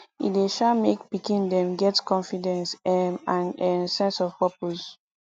e dey um make pikin dem get confidence um and um sense of purpose